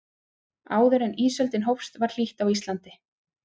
áður en ísöldin hófst var hlýtt á íslandi